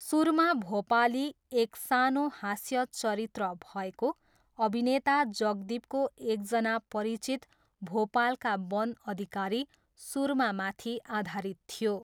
सुरमा भोपाली, एक सानो हास्य चरित्र भएको, अभिनेता जगदीपको एकजना परिचित भोपालका वन अधिकारी, सुरमामाथि आधारित थियो।